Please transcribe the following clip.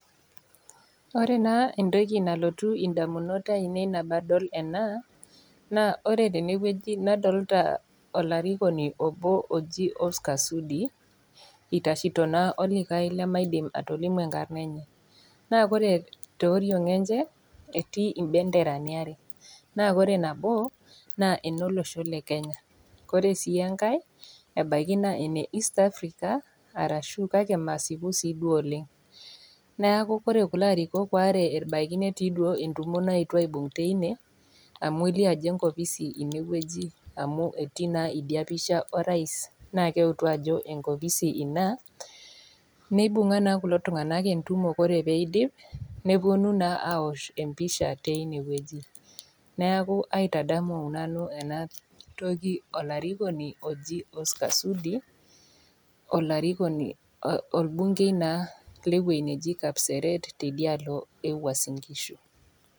Ore naa entoki nalotu indamunot aainei nabo adol ena, naa ore tene wueji nadolita olarikoni obo oji enkarna enye Oscar Sudi eitashito olikai lemeidim atolimu enkarna enye, naa ore te oriong enye, etii impenderani are, naa ore nabo naa enolosho le Kenya, Kore sii enkai naa ene east Africa kake masipu sii duo oleng'. Neaku ore kulo arikok waare ebaiki netii duo entumo naetuo aibung' teine wueji amu elio ajo enkopisi ine, amu etii na idia pisha orais naa keutu ajo enkopisi Ina, neibung'a naa kulo tung'ana entumo ore pee eidip, nepuonu naa aosh empisha teine wueji neaku aitadamu nanu ena toki olarikoni oji Oscar Sudi, olarikoni olbungei naa le ewueji naji kapseret te idialo Uasin ngishu.